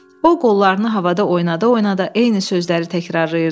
O qollarını havada oynada-oynada eyni sözləri təkrarlayırdı.